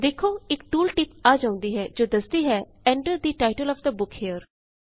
ਦੇਖੋਇਕ tooltip ਆ ਜਾਉਂਦੀ ਹੇ ਜੋ ਦਸਦੀ ਹੈ Enter the title of the book here